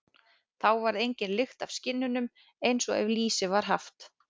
Þá varð engin lykt af skinnunum, eins og ef lýsi var haft.